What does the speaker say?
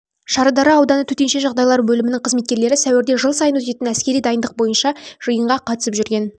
шардара ауданы төтенше жағдайлар бөлімінің қызметкерлері сәуірде жыл сайын өтетін әскери дайындық бойынша жиынға қатысып жүрген